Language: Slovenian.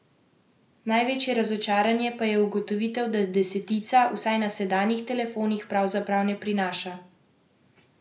Največje razočaranje pa je ugotovitev, da desetica, vsaj na sedanjih telefonih, pravzaprav ne prinaša ničesar vznemirljivega ali vsaj takšnega, česar konkurenca še ni iznašla.